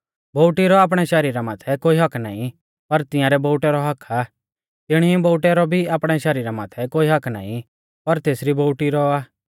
बोउटी रौ आपणै शरीरा माथै कोई हक्क्क नाईं पर तिंआरै बोउटै रौ हक्क्क आ तिणी ई बोउटै रौ भी आपणै शरीरा माथै कोई हक्क्क नाईं पर तेसरी बोउटी रौ आ